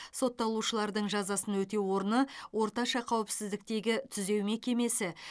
сотталушылардың жазасын өтеу орны орташа қауіпсіздіктегі түзеу мекемесі